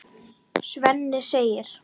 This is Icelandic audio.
Svenni segir